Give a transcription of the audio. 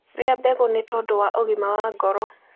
Rĩa mbegũ nĩtondũ wa ũgima wa ngoro